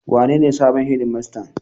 Wanene sabon shedimastan?